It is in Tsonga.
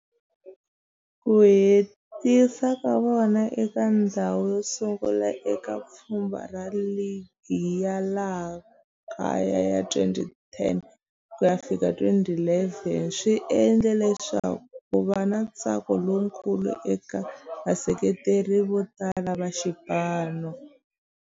Ku hetisa ka vona eka ndzhawu yosungula eka pfhumba ra ligi ya laha kaya ya 2010 ku ya fika 2011 swi endle leswaku kuva na ntsako lowukulu eka vaseketeri votala va xipano.